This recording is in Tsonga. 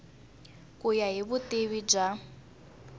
ku ya hi vutivi bya